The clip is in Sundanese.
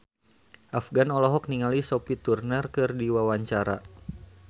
Afgan olohok ningali Sophie Turner keur diwawancara